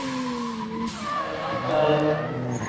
Það er vandræðaleg þögn.